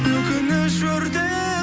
өкініш өртеп